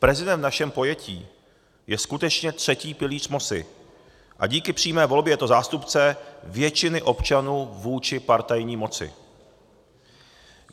Prezident v našem pojetí je skutečně třetí pilíř moci a díky přímé volbě je to zástupce většiny občanů vůči partajní moci.